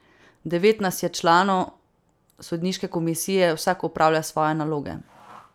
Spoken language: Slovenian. Devet nas je članov sodniške komisije, vsak opravlja svoje naloge.